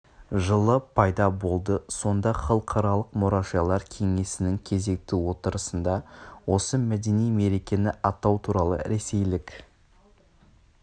жылы пайда болды сонда халықаралық мұражайлар кеңесінің кезекті отырысында осы мәдени мерекені атау туралы ресейлік